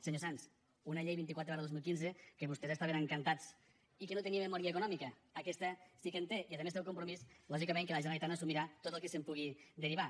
senyor sanz una llei vint quatre dos mil quinze amb què vostès estaven encantats i que no tenia memòria econòmica aquesta sí que en té i a més té el compromís lògicament que la generalitat assumirà tot el que se’n pugui derivar